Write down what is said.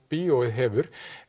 bíóið hefur